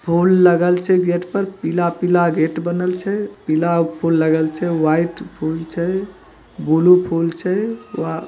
फूल लगल छै गेट पर पिला-पिला गेट बनल छै पिला फूल लगल छै व्हाइट फूल छै ब्लू फूल छै आ ----